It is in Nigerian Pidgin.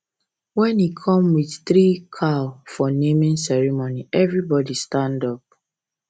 when he come with three cow for naming ceremony everybody stand up